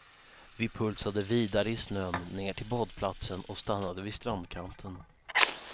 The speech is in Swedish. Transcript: Vi pulsade vidare i snön ner till badplatsen och stannade vid strandkanten.